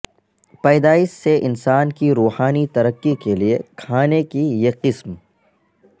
پیدائش سے انسان کی روحانی ترقی کے لئے کھانے کی یہ قسم